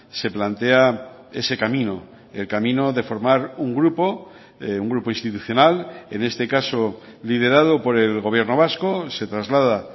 se plantea ese camino el camino de formar un grupo un grupo institucional en este caso liderado por el gobierno vasco se traslada